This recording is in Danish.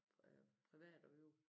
Privat og øve